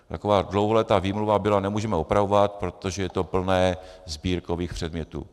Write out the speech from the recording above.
Taková dlouholetá výmluva byla - nemůžeme opravovat, protože je to plné sbírkových předmětů.